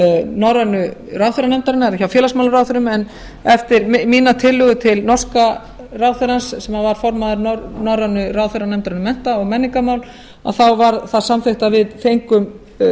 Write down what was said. norrænu ráðherranefndarinnar hjá félagsmálaráðherrum en eftir mína tillögu til norska ráðherrans sem var formaður norrænu ráðherranefndarinnar um mennta og menningarmál þá var það samþykkt að við fengum